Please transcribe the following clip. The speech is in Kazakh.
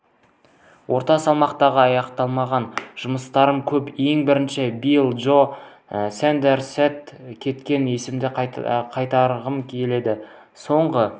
орта салмақта аяқталмаған жұмыстарым көп ең бірінші билли джо сондерсте кеткен есемді қайтарғым келеді соңғы